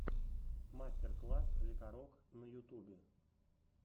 мастер класс лекарок на ютубе